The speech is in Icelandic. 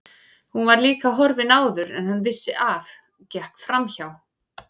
Hún var líka horfin áður en hann vissi af, gekk framhjá